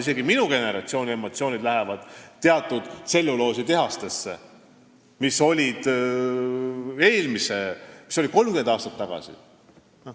Isegi minu generatsiooni emotsioonid põhinevad teatud tselluloositehastel, mis olid 30 aastat tagasi.